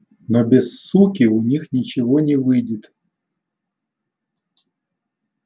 но без суки у них ничего не выйдет